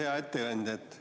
Hea ettekandja!